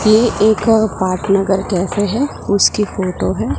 की एक पाठ नगर कहते है उसकी फोटो हैं।